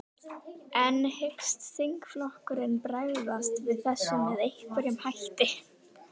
En hyggst þingflokkurinn bregðast við þessu með einhverjum hætti?